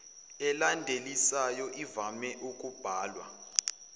elandisayo ivame ukubhalwa